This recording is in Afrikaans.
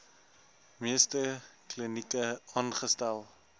meeste klinieke aangestel